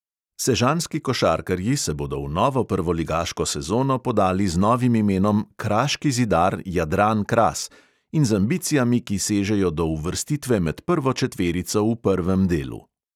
Sežanski košarkarji se bodo v novo prvoligaško sezono podali z novim imenom kraški zidar jadran kras in z ambicijami, ki sežejo do uvrstitve med prvo četverico v prvem delu.